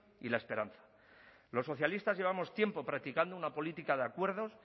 y la esperanza los socialistas llevamos tiempo practicando una política de acuerdos